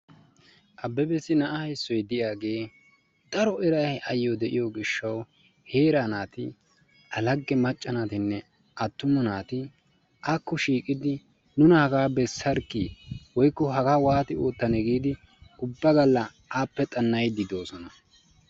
Abebbessi na'a issoy diyagee daro eray diyo gishshawu heeraa naatinne alage macca naatinne attuma naati akko shiiqidi nuna hagaa bessarkkii woykko hagaa waata giidi ubba galla appe xana'iidi doososna.